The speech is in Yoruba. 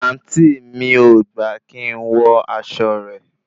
àǹtí mi ò gbà kí n wọ aṣọ rẹ̀